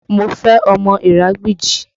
Má fẹ́ ọmọ Iragbiji!